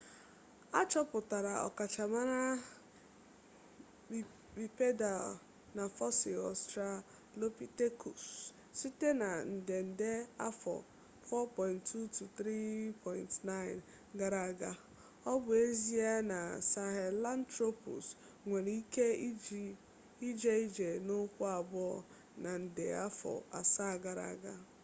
achoputara ọkachamara bipedal na fosil australopithecus site na nde nde afọ 4.2-3.9 gara aga o bu ezie na sahelanthropus nwere ike ije ije n'ukwu abuo na nde afọ asaa gara aga